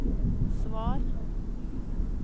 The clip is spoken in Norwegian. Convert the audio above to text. svar